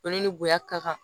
Olu ni bonya ka kan